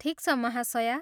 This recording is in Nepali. ठिक छ, महाशया।